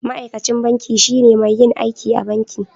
Ma'aikacin banki shine mai yin aiki a banki.